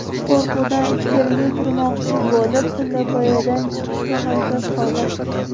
Qo‘rquvdan ichkariga kirmoqchi bo‘lib, pillapoyadan chiqishga harakat qildim.